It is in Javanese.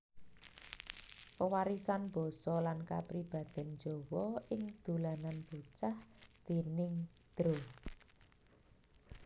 Pewarisan Basa lan Kapribaden Jawa ing Dolanan Bocah déning Dra